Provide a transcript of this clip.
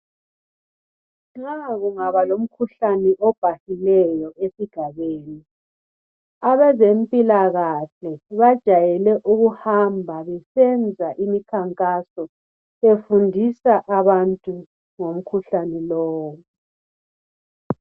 Nxa kungaba lomkhuhlane obhahileyo esigabeni abezempilakahle bajayele ukuhamba besenza imikhankaso befundisa abantu ngomkhuhlane lowu